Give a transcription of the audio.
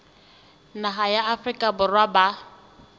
naha ya afrika borwa ba